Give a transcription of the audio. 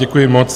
Děkuji moc.